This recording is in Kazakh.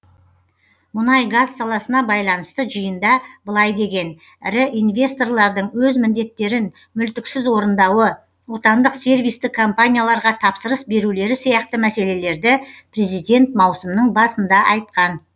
мұнай газ саласына байланысты жиында былай деген ірі инвесторлардың өз міндеттерін мүлтіксіз орындауы отандық сервистік компанияларға тапсырыс берулері сияқты мәселелерді президент маусымның басында айтқан